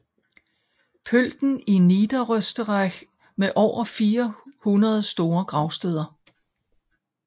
Pölten i Niederösterreich med over 400 store gravsteder